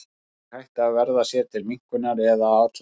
Fólk er hrætt við að verða sér til minnkunar eða að athlægi.